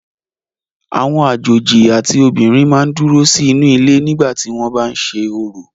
Àwọn àjòjì àti obìnrin máa ń dúró sí inú ilé nígbà tí wọ́n bá ń ṣe orò.